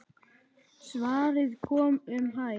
Svarið kom um hæl.